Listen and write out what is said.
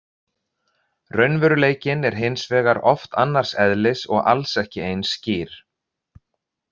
Raunveruleikinn er hins vegar oft annars eðlis og alls ekki eins skýr.